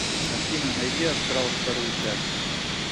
афина найди астрал вторую часть